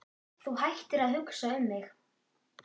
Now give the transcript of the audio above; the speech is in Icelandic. Þú hættir að hugsa um mig.